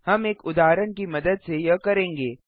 हम एक उदाहरण की मदद से यह करेंगे